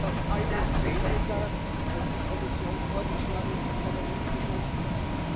Trotzdem ist das alles weniger, als die Kommission vorgeschlagen und das Parlament beschlossen hat.